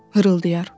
Xırıldayar.